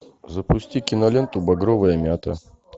запусти киноленту багровая мята